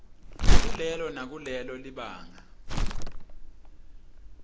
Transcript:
kulelo nakulelo libanga